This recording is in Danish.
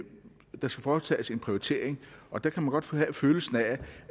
der skal foretages en prioritering og der kan man godt få følelsen af